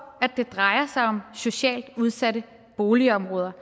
at det drejer sig om socialt udsatte boligområder